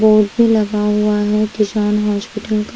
Board भी लगा हुआ है किशान हौशपिटल का।